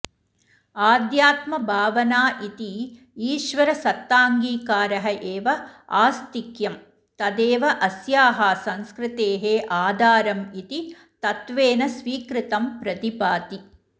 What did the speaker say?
आध्यात्मभावना इति ईश्वरसत्ताङ्गीकारः एव आस्तिक्यं तदेव अस्याः संस्कृतेः आधारम् इति तत्त्वेन स्वीकृतं प्रतिभाति